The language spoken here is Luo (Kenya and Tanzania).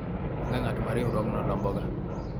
onge ng'at ma riwruogno lomboga